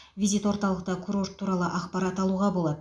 визит орталықта курорт туралы ақпарат алуға болады